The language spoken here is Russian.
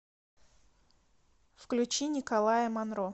включи николая монро